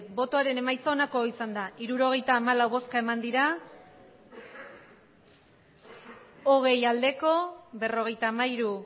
emandako botoak hirurogeita hamalau bai hogei ez berrogeita hamairu